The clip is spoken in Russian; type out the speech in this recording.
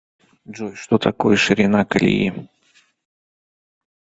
джой что такое ширина колеи